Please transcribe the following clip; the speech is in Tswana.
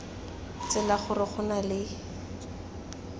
tsela gore go na le